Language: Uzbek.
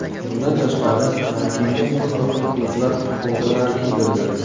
Bundan tashqari manekenga turli xil klublar futbolkalari kiydirildi.